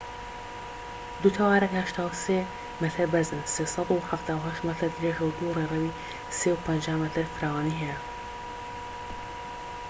دوو تاوەرەکە 83 مەتر بەرزن 378 مەتر درێژە و دوو ڕێڕەوی 3.50 مەتر فراوانی هەیە